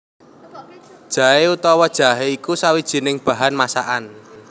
Jaé utawa jahé iku sawijining bahan masakan